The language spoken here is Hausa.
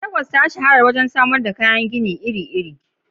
Legas ta shahara wajen samar da kayan gini iri-iri.